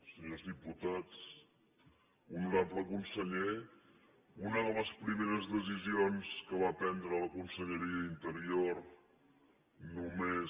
senyors diputats honorable conseller una de les primeres decisions que va prendre la conselleria d’interior només